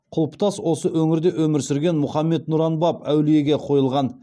құлпытас осы өңірде өмір сүрген мұхаммед нұран баб әулиеге қойылған